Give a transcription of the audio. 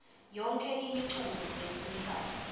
yonkhe imiculu lefunekako